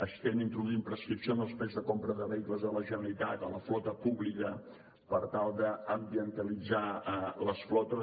estem introduint prescripció en els plecs de compra de vehicles de la generalitat a la flota pública per tal d’ambientalitzar les flotes